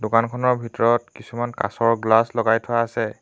দোকানখনৰ ভিতৰত কিছুমান কাঁচৰ গ্লাচ লগাই থোৱা আছে।